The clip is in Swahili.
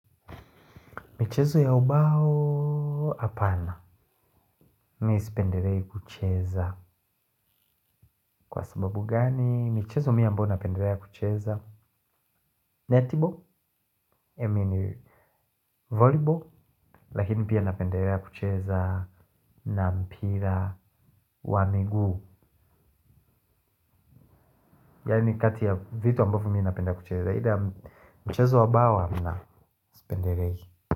Michezo ya ubao hapana. Mi sipendelei kucheza. Kwa sababu gani michezo mi ambayo napendelea kucheza. Netball, emini voleyball, lakini pia napendelea kucheza na mpira wa miguu. Yaani kati ya vitu ambavyo mi napenda kucheza. Hida michezo wa bawa na sipendelei.